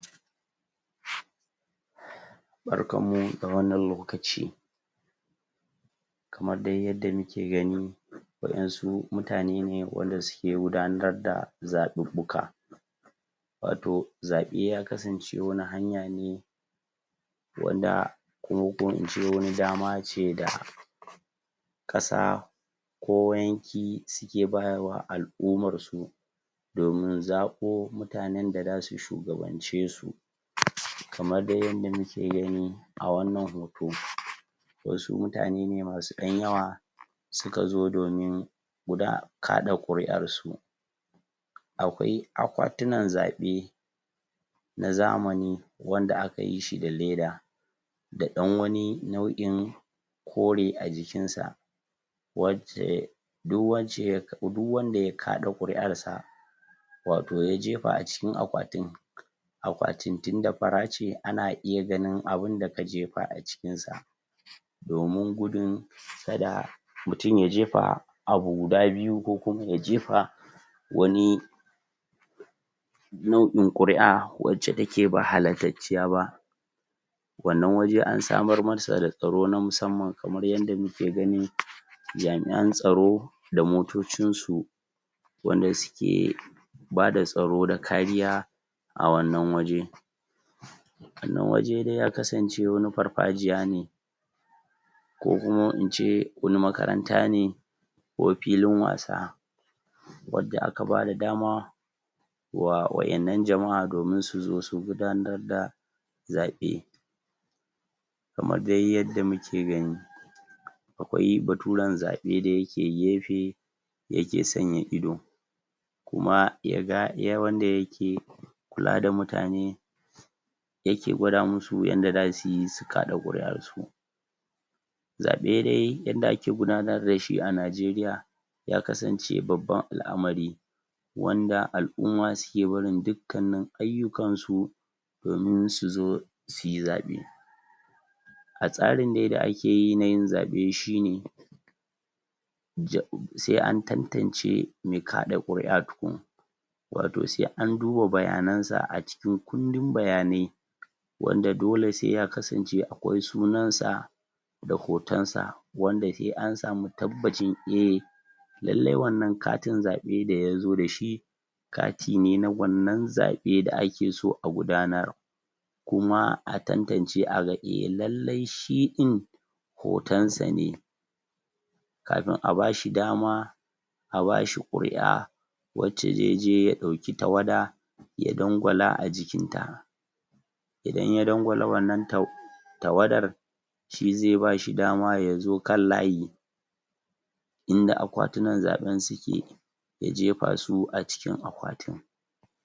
barkan mu da wannan lokaci kamar dai yadda muke gani wadansu mutane ne wanda suke gudanar da zaɓaɓɓuka wato zaɓe ya kasance wani hanya ne wanda kuma ko ince wani dama da kasa ko yanki suki bawa al'ummarsu domin zaɓo mutanen da zasu shugabancesu? kamar dai yadda muke gani a wannnan hot wasu mutane ne masu dan yawa suka zo domin kaɗa kuri'arsu akwai akwatunan zabe na zamani wanda akayi shi da leda da ɗan wani nau'in kore a jikinsa wacce duk wacce duk wanda ya kaɗa kuri'arsa wato ya jefa acikin akwatin akwatin tunda fara ce ana iya ganin abun da ka jefa acinkin sa domin gudun kada mutum ya jefa abu guda biyu ko kuma ya jefa wani nau'in kuri'a wacce take ba halastacciya ba wannan waje ansa marmasa da tsaro na musamman kamar yadda muke gani jami'an tsaro da motocinsu wanda suke bada tsaro da kariya a wannan waje wannan waje dai ya kasance wani farfajiya ne ko kuma ince wani makaranta ne ko filin wasa wanda aka bada dama wanda aka bawa wadan nan jama'a dama dominsu gudanar da zaɓe kamar dai yadda muke gani akwai baturen zaɓe da yake gefe yake sanya ido kuma wanda yake kula da mutane ya ke gwada musu yanda zasu kaɗa kuri'arsu zaɓe dai yadda ake gudanar da shi a nijeriya ya kasance babbar al'amari wanda al'umma suke barin dukanin ayyukansu domin su zo suyi zaɓe a tsarin dai da keyi na yin zabe shine? sai an tantance mai kada kuri'a tukum wato sai anduba bayan sa acikin kundin bayanai wanda dole sai ya kasance akwai sunan sa da hotonsa wanda sai ansami tabbacin eh lalle wannan katin zabe da ya so dashi kati ne na wannan zabe da ake so a gudanar kuma a tantance a ga lalle eh shi din hoton sa ne kafin a bashi dama a bashi kuri'a wanda zai je ya dauki tawada ya dangwala ajikinta idan ya dangwala wannan tawadar shi zai bashi dama yazo kan layi inda akwatunan zaben suke ya jefa su acikin akwatun